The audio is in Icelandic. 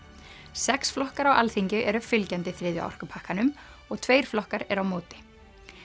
sex flokkar á Alþingi eru fylgjandi þriðja orkupakkanum og tveir flokkar eru á móti